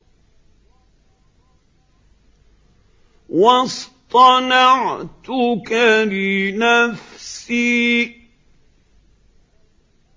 وَاصْطَنَعْتُكَ لِنَفْسِي